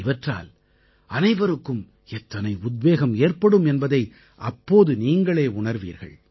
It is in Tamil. இவற்றால் அனைவருக்கும் எத்தனை உத்வேகம் ஏற்படும் என்பதை அப்போது நீங்களே உணர்வீர்கள்